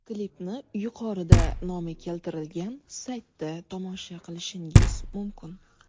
Klipni yuqorida nomi keltirilgan saytda tomosha qilishingiz mumkin.